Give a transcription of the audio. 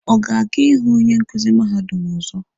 Ọ ga-aga ịhụ onye nkuzi mahadum ọzọ?